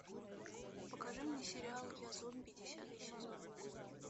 покажи мне сериал я зомби десятый сезон